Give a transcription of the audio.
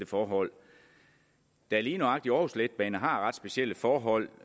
forhold da lige nøjagtig aarhus letbane har ret specielle forhold